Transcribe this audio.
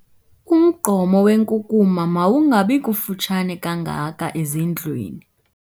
Umgqomo wenkunkuma mawungabi kufutshane kangaka ezindlwini.